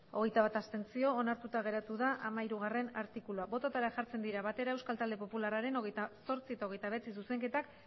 hogeita bat abstentzio onartuta geratu da hamairugarrena artikulua bototara jartzen dira batera euskal talde popularraren hogeita zortzi eta hogeita bederatzi zuzenketak